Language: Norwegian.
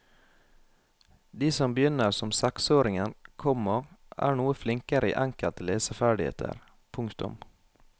De som begynner som seksåringer, komma er noe flinkere i enkelte leseferdigheter. punktum